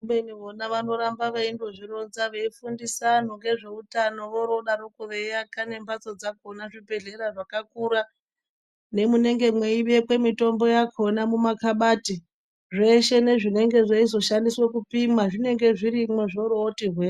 Kubeni vona vanoramba veindozvironza veifundise vantu ngezveutano vorodaroko veiaka nembatso dzakona nezvibhehlera zvakakura nemunenge mweibekwe mitombo yakona mumakabati zveshe nezvinozoshandiswa kupima zvinenge zvirimwo zvoroti hwe.